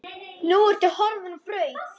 Nú ertu horfin á braut.